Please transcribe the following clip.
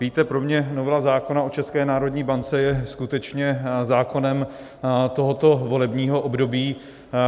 Víte, pro mě novela zákona o České národní bance je skutečně zákonem tohoto volebního období.